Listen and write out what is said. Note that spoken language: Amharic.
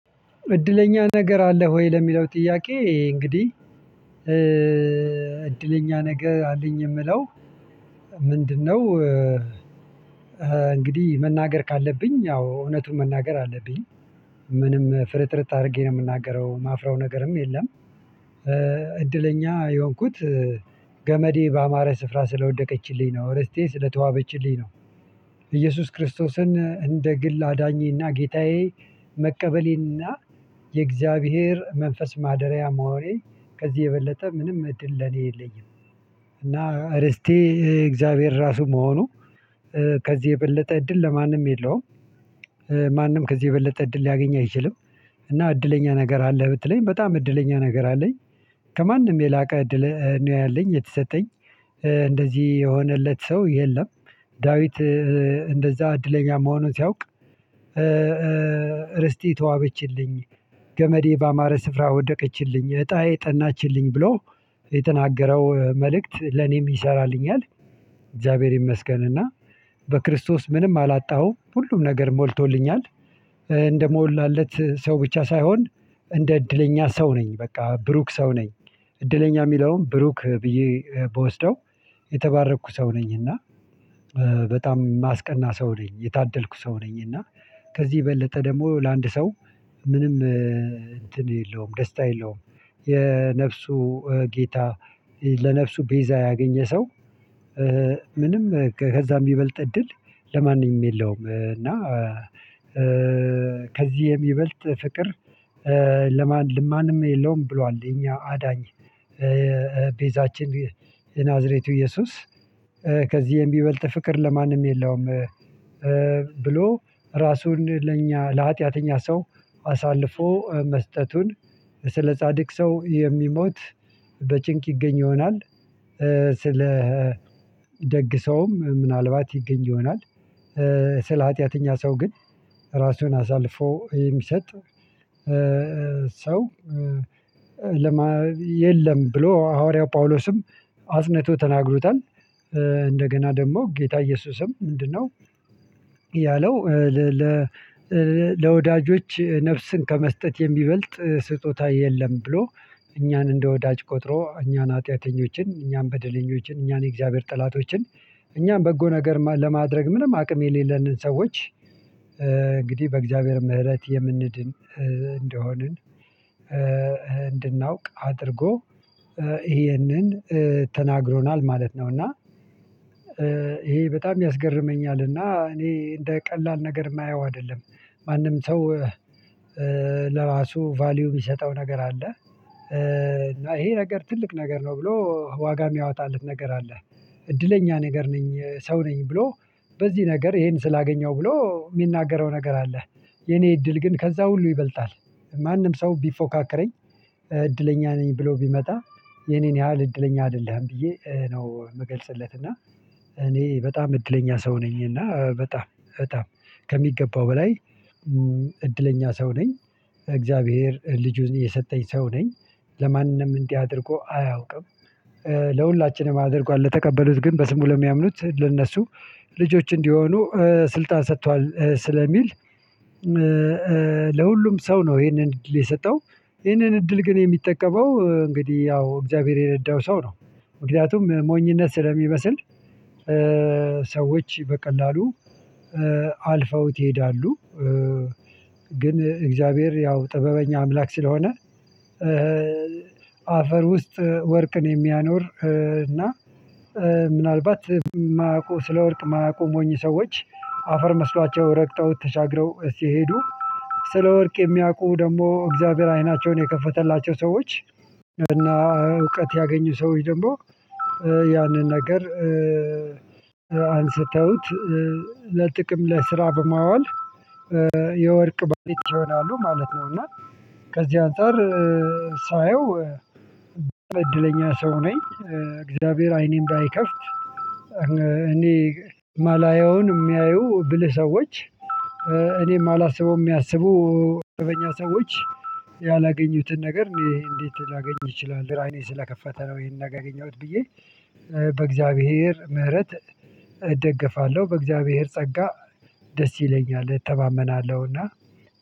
እድለኛ ነገር አለ ሆይ ለሚለው ጥያቄ እንግዲህ። እድለኛ ነገር አለኝ የምለው። ምንድነው? እንግዲህ መናገር ካለብኝ አዎ እውነቱን መናገር አለብኝ። ምንም ፍርጥርጥ አድርጌ ነው የምናገረው ማፍረው ነገርም የለም። እድለኛ የሆንኩት ገመዴ በአማረ ስፍራ ስለወደቀችልኝ ነው ርስቴ ስለተዋበችልኝ ነው። እየሱስ ክርስቶስን እንደ ግል አዳኜ እና ጌታዬ። መቀበሌ እና የእግዚአብሔር መንፈስ ማደሪያ መሆኔን ከዚህ የበለጠ ምንም እድል ለኔ የለኝም። እና ርስቴ የእግዚአብሔር ራሱ መሆኑ ከዚህ የበለጠ እድል ለማንም የለውም። ማንም ከዚህ የበለጠ እድል ሊያገኝ አይችልም። እና እድለኛ ነገር አለህ ብትለኝ በጣም እድለኛ ነገር አለኝ። ከማንም የላቀ እድል ነው ያለኝ የተሰጠኝ እንደዚህ የሆነለት ሰው የለም። ዳዊት እንደዛ እድለኛ መሆኑን ሲያውቅ ርስቴ ተዋበችልኝ ገመዴ በአማረ ስፍራ ወደቀችልኝ እጣዬ ጠናችልኝ ብሎ የተናገረው መልእክት ለኔም ይሰራልኛል። እግዚአብሔር ይመስገን እና በክርስቶስ ምንም አላጣሁም ሁሉም ነገር ሞልቶልኛል። እንደሞላለት ሰው ብቻ ሳይሆን እንደ እድለኛ ሰው ነኝ በቃ ብሩክ ሰው ነኝ። እድለኛ የሚለውን ብሩክ ብዬ ብወስደው የተባረኩ ሰው ነኝ እና። በጣም ማስቀና ሰው ነኝ የታደልኩ ሰው ነኝ እና ከዚህ በለጠ ደግሞ ለአንድ ሰው ምንም እንትን የለውም ደስታ የለውም። የነፍሱ ጌታ ለነፍሱ ቤዛ ያገኘ ሰው። ምንም ከዛም የሚበልጥ እድል ለማንም የለውም እና። ከዚህ የሚበልጥ ፍቅር ለማንም የለውም ብሏል። የኛ አዳኝ ቤዛችን የናዝሬቱ እየሱስ። ከዚህም የሚበልጥ ፍቅር ለማንም የለውም። ብሎ ራሱን ለኛ ለሀጢያተኛ ሰው አሳልፎ መስጠቱን ስለ ጻድቅ ሰው የሚሞት በጭንቅ ይገኝ ይሆናል። ስለ ደግ ሰውም ምናልባት ይገኝ ይሆናል። ስለ ሀጢያተኛ ሰው ግን ራሱን አሳልፎ የሚሰጥ ሰው የለም ብሎ ሐዋርያው ጳውሎስም አጽንቶ ተናግሮታል። እንደገና ደግሞ ጌታ ኢየሱስም ምንድነው? ያለው ለወዳጆች ነፍስን ከመስጠት የሚበልጥ ስጦታ የለም ብሎ። እኛን እንደ ወዳጅ ቆጥሮ እኛን ኃጥያተኞችን እኛን በደለኞችን እኛን የእግዚአብሔር ጠላቶችን እኛን በጎ ነገር ለማድረግ ምንም አቅም የሌለንን ሰዎች። እንግዲህ በእግዚአብሔር ምህረት የምንድን እንደሆንን እንድናውቅ አድርጎ ይሄንን ተናግሮናል ማለት ነው። እና ይሄ በጣም ያስገርመኛልና እኔ እንደ ቀላል ነገር የማየው አይደለም። ማንም ሰው ለራሱ ቫልዩ የሚሰጠው ነገር አለ። እና ይሄ ነገር ትልቅ ነገር ነው ብሎ ዋጋ የሚያወጣለት ነገር አለ። እድለኛ ነገር ነኝ ሰው ነኝ ብሎ በዚህ ነገር ይሄን ስላገኘው ብሎ የሚናገረው ነገር አለ። የኔ እድል ግን ከዛ ሁሉ ይበልጣል። ማንም ሰው ቢፎካከረኝ እድለኛ ነኝ ብሎ ቢመጣ የኔን ያህል እድለኛ አይደለህም ብዬ ነው የምገልጽለት እና። እኔ በጣም እድለኛ ሰው ነኝ እና በጣም በጣም ከሚገባው በላይ እድለኛ ሰው ነኝ። እግዚአብሔር ልጁን የሰጠኝ ሰው ነኝ ለማንም እንዲህ አድርጎ አያውቅም። ለሁላችንም አድርጓል ለተቀበሉት ግን በስሙ ለሚያምኑት ለእነሱ ልጆቹ እንዲሆኑ ስልጣን ሰጥቷል ስለሚል። ለሁሉም ሰው ነው ይሄንን እድል የሰጠው ይሄንን እድል ግን የሚጠቀመው እንግዲህ ያው እግዚአብሔር የረዳው ሰው ነው። ምክንያቱም ሞኝነት ስለሚመስል ሰዎች በቀላሉ አልፎት ይሄዳሉ ግን እግዚአብሔር ያው ጥበበኛ አምላክ ስለሆነ። አፈር ውስጥ ወርቅን የሚያኖር እና ምናልባት የማያውቁ ስለወርቅ የማያውቁ ሞኝ ሰዎች አፈር መስሏቸው ረግጦት ተሻግረው ስሄዱ። ስለ ወርቅ የሚያውቁ ደግሞ እግዚአብሔር አይናቸውን የከፈተላቸው ሰዎች እና እውቀት ያገኙ ሰዎች ደግሞ ያንን ነገር አንስተውት ለጥቅም ለስራ በማዋል የወርቅ ባለቤት ይሆናሉ ማለት ነው። እና ከዚህ አንፃር ሳየው እድለኛ ሰው ነኝ። እግዚአብሔር አይኔን እንዳይከፍት እኔ ማላየውን የሚያዩ ብልህ ሰዎች። እኔ ማላስበውም የሚያስቡ እረኛ ሰዎች ያላገኙትን ነገር እኔ እንዴት ላገኝ እችላለው? አይኔ ስለከፈተ ነው ይሄን ነገር ያገኘሁት ብዬ። በእግዚአብሔር ምህረት እደግፋለሁ በእግዚአብሔር ጸጋ ደስ ይለኛል እተማመናለውና።